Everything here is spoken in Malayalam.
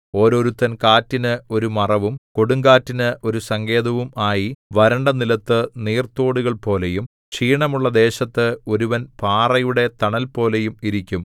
ഓരോരുത്തൻ കാറ്റിന് ഒരു മറവും കൊടുങ്കാറ്റിന് ഒരു സങ്കേതവും ആയി വരണ്ട നിലത്തു നീർത്തോടുകൾപോലെയും ക്ഷീണമുള്ള ദേശത്ത് ഒരുവൻ പാറയുടെ തണൽപോലെയും ഇരിക്കും